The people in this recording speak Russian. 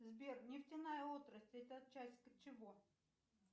сбер нефтяная отрасль это часть чего